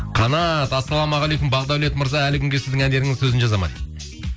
қанат ассалаумағалейкум бағдаулет мырза әлі күнге сіздің әндеріңіздің сөзін жазады ма дейді